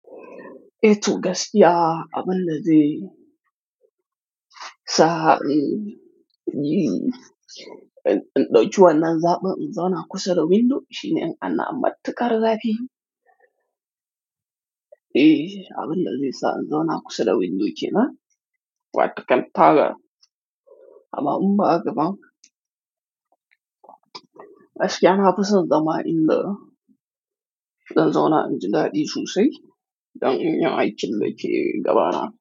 Etu gaskiya abin da zai sa in yi, in ɗauki wannan zaɓin in zauna kusa da window shine an amce karra biyu. Eh, abin da zai sa in zauna kusa da window ke nan, watakil tara. Amma in ba haka ba, aske na fi son dama in da in zauna inji gadi sosai don in iya aikin da ke gaba na.